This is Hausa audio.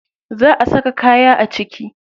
Za a saka kaya a ciki.